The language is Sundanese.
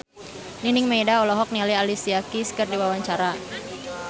Nining Meida olohok ningali Alicia Keys keur diwawancara